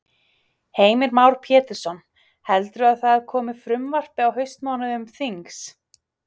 Heimir Már Pétursson: Heldurðu að það komi frumvarp á haustmánuðum þings?